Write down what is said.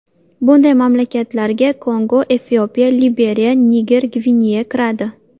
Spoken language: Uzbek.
Bunday mamlakatlarga Kongo, Efiopiya, Liberiya, Niger, Gvineya kiradi.